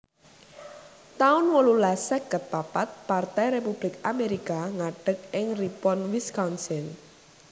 taun wolulas seket papat Partai Republik Amerika ngadeg ing Ripon Wisconsin